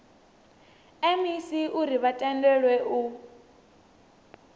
mec uri vha tendelwe u